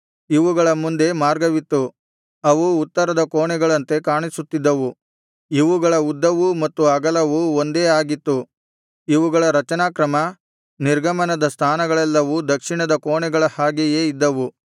ಇವುಗಳ ಮುಂದೆ ಮಾರ್ಗವಿತ್ತು ಅವು ಉತ್ತರದ ಕೋಣೆಗಳಂತೆ ಕಾಣಿಸುತ್ತಿದ್ದವು ಇವುಗಳ ಉದ್ದವೂ ಮತ್ತು ಅಗಲವೂ ಒಂದೇ ಆಗಿತ್ತು ಇವುಗಳ ರಚನಾಕ್ರಮ ನಿರ್ಗಮನದ ಸ್ಥಾನಗಳೆಲ್ಲವೂ ದಕ್ಷಿಣದ ಕೋಣೆಗಳ ಹಾಗೆಯೇ ಇದ್ದವು